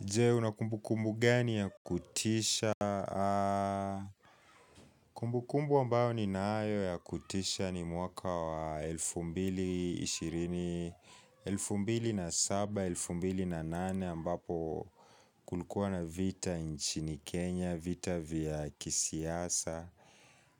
Jee una kumbukumbu gani ya kutisha? Kumbukumbu ambayo ninayo ya kutisha ni mwaka wa elfu mbili ishirini elfu mbili na saba, elfu mbili na nane ambapo kulikuwa na vita nchini Kenya vita vya kisiasa